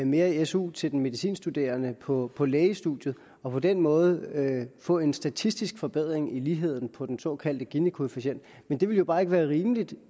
mere i su til den medicinstuderende på på lægestudiet og på den måde få en statistisk forbedring i ligheden på den såkaldte ginikoefficient men det ville jo bare ikke være rimeligt